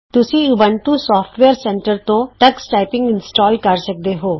ਤੁਸੀਂ Ubuntu software centre ਤੋਂ Tux typing install ਕਰ ਸਕਦੇ ਹੋ